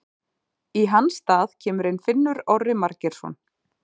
Í hans stað kemur inn Finnur Orri Margeirsson.